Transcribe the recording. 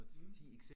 Mh